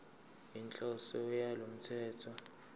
inhloso yalo mthetho